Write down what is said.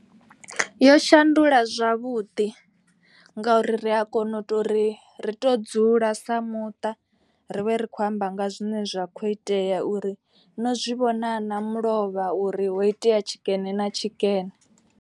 Yo shandula zwavhuḓi ngauri ri a kona u to uri ri to dzula sa muṱa. Ri vhe ri khou amba nga zwine zwa kho itea uri no zwivhona na mulovha uri ho itea tshikene na tshikene.